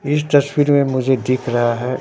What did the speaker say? इस तस्वीर में मुझे दिख रहा है--